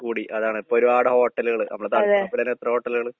കൂടി, അതാണ്. ഇപ്പൊരുപാട് ഹോട്ടലുകള് നമ്മളെ എത്ര ഹോട്ടലുകള്.